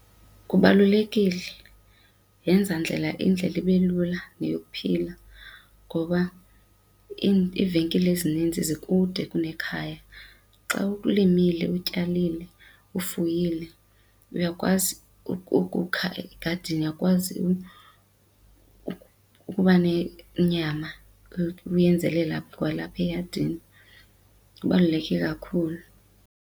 Kubalulekile, yenza ndlela indlela ibe lula neyokuphila ngoba iivenkile ezininzi zikude kusekhaya. Xa ulimile, utyalile, ufuyile uyakwazi ukukha egadini uyakwazi ukuba nenyama uyenzela kwalapha eyadini kubaluleke kakhulu.